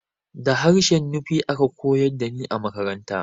Da harshen Nufe aka koyar da ni a makaranta